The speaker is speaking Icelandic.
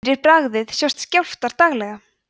fyrir bragðið sjást skjálftar daglega